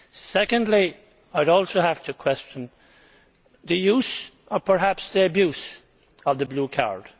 Secondly, I would also have to question the use or perhaps the abuse of the blue card.